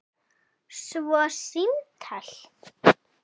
Svo símtal.